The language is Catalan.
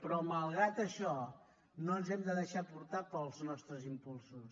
però malgrat això no ens hem de deixar portar pels nostres impulsos